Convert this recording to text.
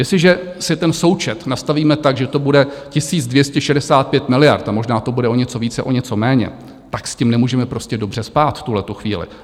Jestliže si ten součet nastavíme tak, že to bude 1 265 miliard, a možná to bude o něco více, o něco méně, tak s tím nemůžeme prostě dobře spát v tuhle chvíli.